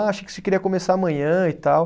Ah, achei que você queria começar amanhã e tal.